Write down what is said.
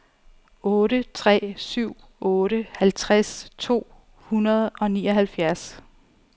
otte tre syv otte halvtreds to hundrede og nioghalvfjerds